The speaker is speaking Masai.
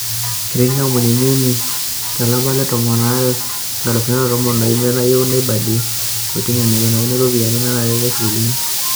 Etii ikampunini uni to lapa le tomon to lari loo nkalifuni are o tomon o imiet nayieu neibalie kotini enaikunakini iropiyiani nanare neshukokini.